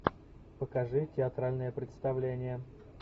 покажи театральное представление